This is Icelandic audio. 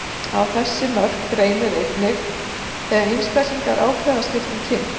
Á þessi mörk reynir einnig þegar einstaklingar ákveða að skipta um kyn.